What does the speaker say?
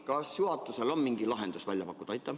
Kas juhatusel on mingi lahendus välja pakkuda?